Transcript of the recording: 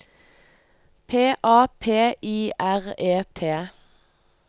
P A P I R E T